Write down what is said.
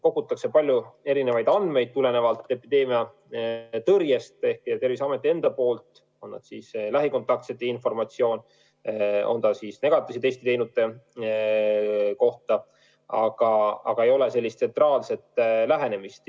Terviseamet kogub tulenevalt epideemiatõrjest palju erinevaid andmeid, on see siis informatsioon lähikontaktsete kohta või negatiivse testi teinute kohta, aga ei ole tsentraalset lähenemist.